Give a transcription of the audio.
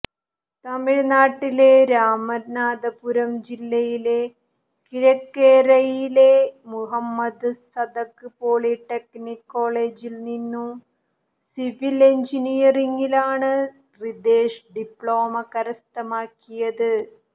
തമിഴ്നാട്ടിലെ രാമനാഥപുരം ജില്ലയിലെ കിഴക്കരൈയിലെ മുഹമ്മദ് സതക് പോളിടെക്നിക് കോളേജിൽ നിന്ന് സിവിൽ എൻജിനീയറിംഗിലാണ് റിതേഷ് ഡിപ്ലോമ കരസ്ഥമാക്കിയത്